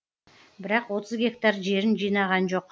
бірақ отыз гектар жерін жинаған жоқ